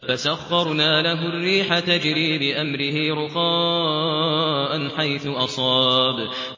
فَسَخَّرْنَا لَهُ الرِّيحَ تَجْرِي بِأَمْرِهِ رُخَاءً حَيْثُ أَصَابَ